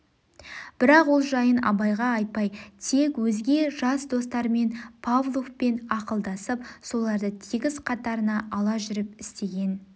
бірақ ол жайын абайға айтпай тек өзге жас достармен павловпен ақылдасып соларды тегіс қатарына ала жүріп істеген